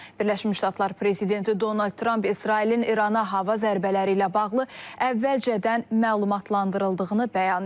Birləşmiş Ştatlar prezidenti Donald Tramp İsrailin İrana hava zərbələri ilə bağlı əvvəlcədən məlumatlandırıldığını bəyan edib.